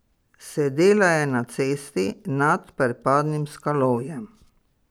Sedela je na cesti nad prepadnim skalovjem.